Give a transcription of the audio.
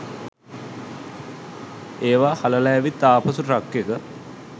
ඒවා හලලා ඇවිත් ආපසු ට්‍රක් එක